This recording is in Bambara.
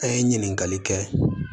An ye ɲininkali kɛ